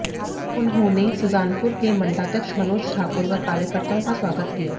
उन्होंने सुजानपुर के मंडलाध्यक्ष मनोज ठाकुर व कार्यकर्ताओं का स्वागत किया